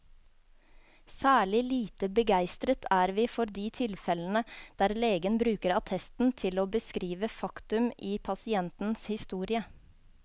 Særlig lite begeistret er vi for de tilfellene der legen bruker attesten til å beskrive faktum i pasientens historie.